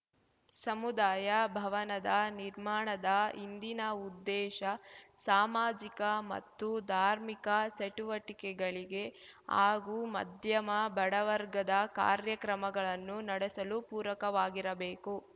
ಸಮುದಾಯ ಭವನದ ನಿರ್ಮಾಣದ ಹಿಂದಿನ ಉದ್ದೇಶ ಸಾಮಾಜಿಕ ಮತ್ತು ಧಾರ್ಮಿಕ ಚಟುವಟಿಕೆಗಳಿಗೆ ಹಾಗೂ ಮಧ್ಯಮ ಬಡವರ್ಗದ ಕಾರ್ಯಕ್ರಮಗಳನ್ನು ನಡೆಸಲು ಪೂರಕವಾಗಿರಬೇಕು